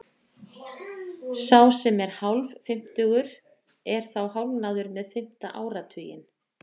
Sá sem er hálffimmtugur er þá hálfnaður með fimmta áratuginn.